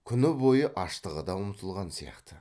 күні бойғы аштығы да ұмытылған сияқты